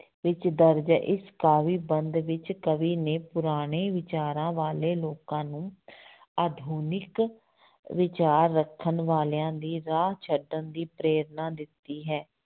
ਵਿੱਚ ਦਰਜ਼ ਹੈ ਇਸ ਕਾਵਿ ਬੰਧ ਵਿੱਚ ਕਵੀ ਨੇ ਪੁਰਾਣੇ ਵਿਚਾਰਾਂ ਵਾਲੇ ਲੋਕਾਂ ਨੂੰ ਆਧੁਨਿਕ ਵਿਚਾਰ ਰੱਖਣ ਵਾਲਿਆਂ ਦੀ ਰਾਹ ਛੱਡਣ ਦੀ ਪ੍ਰੇਰਨਾ ਦਿੱਤੀ ਹੈ।